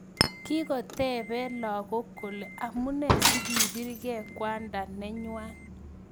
Kikotepee lagok kolee amunee sikiprgei kwandaa nenywaa